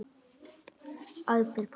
æpir pabbi.